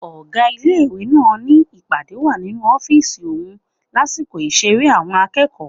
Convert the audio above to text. Ọ̀gá ilé-ìwé náà ni ìpàdé wà nínú ọ́fìsì òun lásìkò ìṣeré àwọn akẹ́kọ̀ọ́